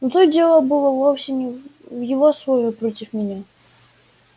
но тут дело было вовсе не в его слове против меня